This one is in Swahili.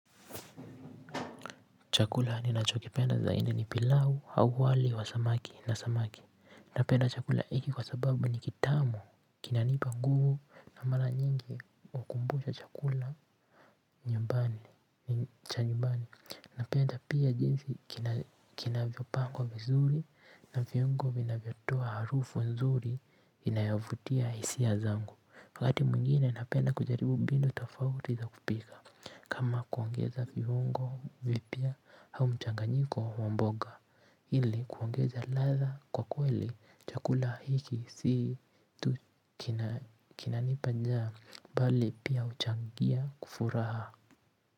Chakula ninachokipenda zaidi ni pilau, au wali wa samaki, na samaki. Napenda chakula hiki kwa sababu ni kitamu, kinanipa nguvu na mara nyingi hukumbusha chakula cha nyumbani. Napenda pia jinsi kinavyopangwa vizuri na viungo vinavyotoa harufu nzuri inayovutia hisia zangu. Wakati mwingine napenda kujaribu mbinu tofauti za kupika. Kama kuongeza viungo vipya au mchanganyiko wa mboga ili kuongeza ladha kwa kweli chakula hiki si tu kinanipa njaa mbali pia huchangia furaha.